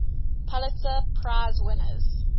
pulitzer prize winners